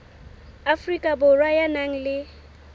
afrika borwa ya nang le